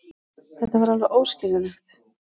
Þetta er alveg óskiljanlegt.